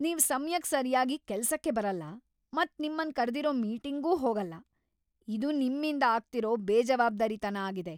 ನೀವ್ ಸಮ್ಯಕ್ ಸರ್ಯಾಗಿ ಕೆಲ್ಸಕ್ಕೆ ಬರಲ್ಲ ಮತ್ ನಿಮ್ಮನ್ ಕರ್ದಿರೋ ಮೀಟಿಂಗ್ಗೂ ಹೋಗಲ್ಲ, ಇದು ನಿಮ್ಮಿಂದ ಆಗ್ತಿರೋ ಬೇಜವಾಬ್ದಾರಿತನ ಆಗಿದೆ.